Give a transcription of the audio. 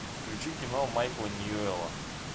включи кино майкла ньюэлла